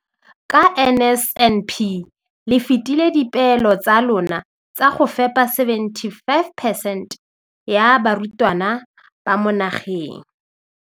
Ka NSNP le fetile dipeelo tsa lona tsa go fepa masome a supa le botlhano a diperesente ya barutwana ba mo nageng.